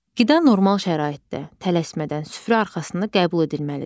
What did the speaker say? Qida normal şəraitdə, tələsmədən, süfrə arxasında qəbul edilməlidir.